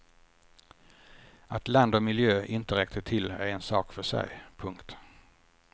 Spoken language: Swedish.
Att land och miljö inte räckte till är en sak för sig. punkt